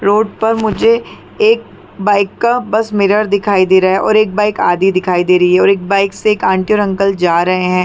Road पर मुझे एक बाइक का बस मिरर दिखाई दे रहा है और एक बाइक आधी दिखाई दे रही है और एक बाइक से एक आंटी और अंकल जा रहे है ।